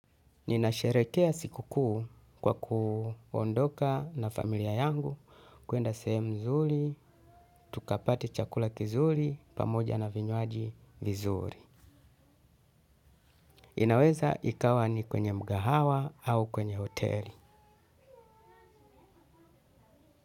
Ninasherehekea siku kuu kwa kuondoka na familia yangu kwenda sehemu mzuri, tukapate chakula kizuri, pamoja na vinywaji vizuri. Inaweza ikawa ni kwenye mkahawa au kwenye hoteli.